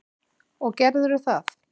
Og gerðirðu það?